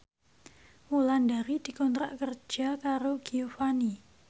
Wulandari dikontrak kerja karo Giovanni